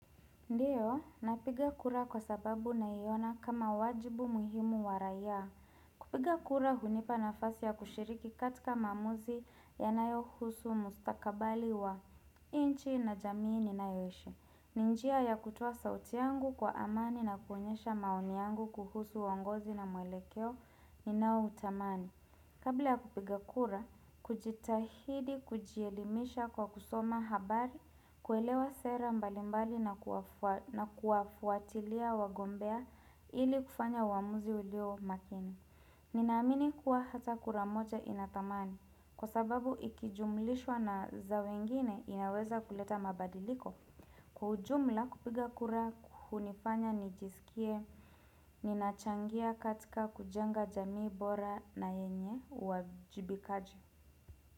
Ndiyo, napiga kura kwa sababu na iona kama wajibu muhimu wa raia. Kupiga kura hunipa nafasi ya kushiriki katika maamuzi yanayohusu mustakabali wa nchi na jamii ninayoishi ni njia ya kutoa sauti yangu kwa amani na kuonyesha maoni yangu kuhusu uongozi na mwelekeo ni naoutamani. Kabla ya kupiga kura, kujitahidi kujielimisha kwa kusoma habari, kuelewa sera mbalimbali na kuwafuatilia wagombea ili kufanya uamuzi ulio makini. Ninaamini kuwa hata kura moja inathamani, kwa sababu ikijumulishwa na za wengine inaweza kuleta mabadiliko. Kwa ujumla kupiga kura hunifanya nijisikie ninachangia katika kujenga jamii bora na yenye uwajibikaji.